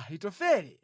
Ahitofele